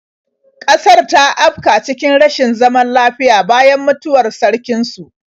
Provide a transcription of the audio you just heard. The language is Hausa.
Ƙasar ta afka cikin rashin zaman lafiya bayan mutuwar sarkin su.